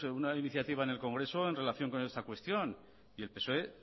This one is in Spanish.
pues una iniciativa en el congreso en relación con esta cuestión y el psoe